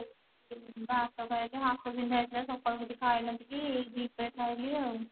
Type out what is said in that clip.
ଭାତ ଖାଇଲି ହାତ ବିନ୍ଧା ହେଇ ଥିଲା ସକାଳୁ କିଛି ଖାଇ ନଥିଲି ଏଇ ଦି ପହରେ ଖାଇଲି ଆଉ